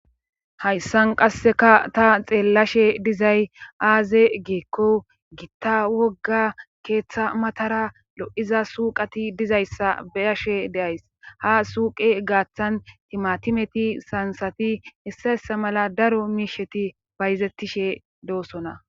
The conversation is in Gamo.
Hayssan qasseka ta xeellashe dizay aaze geekko gitta wogga keeththa matara lo7iza suuqati dizayssa beyashe deays ha suuqe gaaththan timatimeti sansati issayessa mala daro miisheti bayzettishe doosona